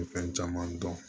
Fɛn caman dɔn